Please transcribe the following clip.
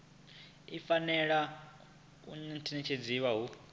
i fanela u ṋetshedzwa hu